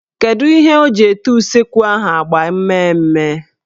Kedu ihe o ji ete useekwu ahụ agba mmee mme.